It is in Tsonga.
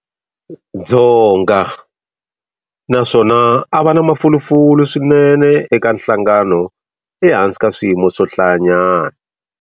Dzonga, na swona a va na mafulufulu swinene eka nhlangano ehansi ka swiyimo swo hlayanyana.